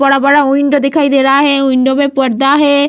बड़ा-बड़ा विंडो दिखाई दे रहा है। विंडो में पर्दा है।